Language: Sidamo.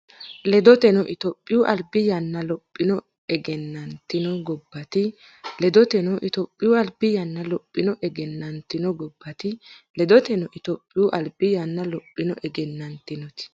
Ledoteno, Itophiyu albi yanna lophonni egennantino gobbaati Ledoteno, Itophiyu albi yanna lophonni egennantino gobbaati Ledoteno, Itophiyu albi yanna lophonni egennantino.